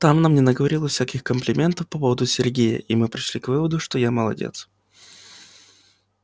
там она мне наговорила всяких комплиментов по поводу сергея и мы пришли к выводу что я молодец